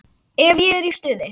Ef ég er í stuði.